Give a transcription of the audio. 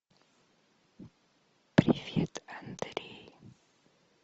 привет андрей